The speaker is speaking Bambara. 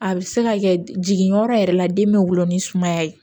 A bɛ se ka kɛ jigin yɔrɔ yɛrɛ la den bɛ wolo ni sumaya ye